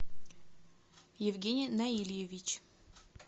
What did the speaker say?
евгений наильевич